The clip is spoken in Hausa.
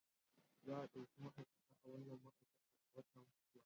Za a ɗauki ma'aikata a wannan ma'aikatar a wata mai zuwa